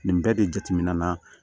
Nin bɛɛ de jateminɛ na